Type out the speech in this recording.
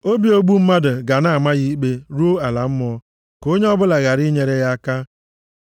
Obi ogbu mmadụ ga na-ama ya ikpe ruo ala mmụọ. Ka onye ọbụla ghara inyere ya aka.